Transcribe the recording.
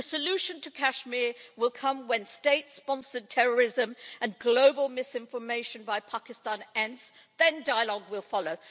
The solution to Kashmir will come when state sponsored terrorism and global misinformation by Pakistan ends, then dialogue will follow.